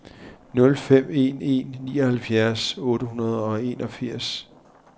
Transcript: nul fem en en nioghalvfjerds otte hundrede og enogfirs